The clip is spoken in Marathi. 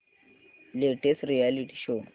latest reality show